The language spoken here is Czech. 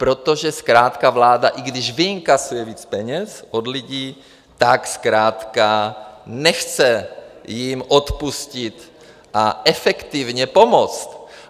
Protože zkrátka vláda, i když vyinkasuje víc peněz od lidí, tak zkrátka nechce jim odpustit a efektivně pomoct.